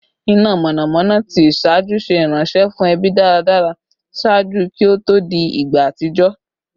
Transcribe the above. ina mọnamọna ti iṣaaju ṣe iranṣẹ fun ẹbi daradara ṣaaju ki o to di igba atijọ